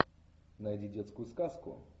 найди детскую сказку